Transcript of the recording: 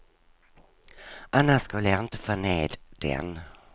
Annars skulle jag inte få ned den.